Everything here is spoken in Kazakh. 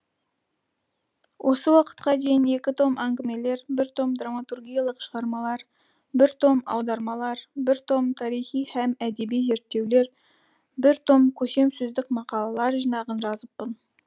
осы уақытқа дейін екі том әңгімелер бір том драматургиялықшығармалар бір том аудармалар бір том тарихи һәм әдеби зерттеулер бір том көсемсөздік мақалалар жинағын жазыппын